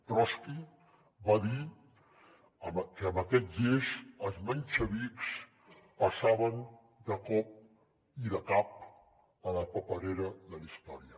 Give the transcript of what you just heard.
trotski va dir que amb aquell gest els menxevics passaven de cop i de cap a la paperera de la història